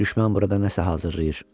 Düşmən burada nəsə hazırlayır.